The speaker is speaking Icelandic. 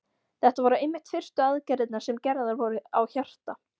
Þetta voru einmitt fyrstu aðgerðirnar sem gerðar voru á hjarta.